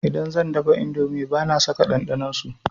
Idan zan dafa indomi bana saka ɗanɗanon su.